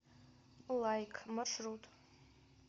лайк маршрут